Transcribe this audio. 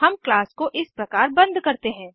हम क्लास को इस प्रकार बंद करते हैं